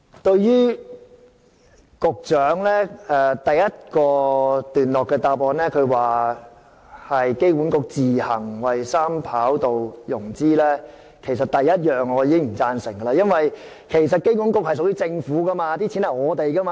對於局長在主體答覆第一段提到機管局自行為三跑道系統進行融資，我首先不表贊成，因為機管局是公營機構，其資金是市民的金錢。